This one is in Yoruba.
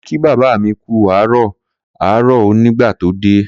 Kunle ki baba mi ku aro kuku aaro o, nigba to de